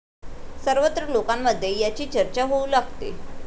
सर्वत्र लोकांमध्ये याची चर्चा होऊ लागते.